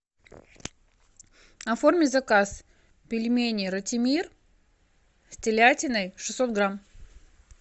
оформи заказ пельмени ратимир с телятиной шестьсот грамм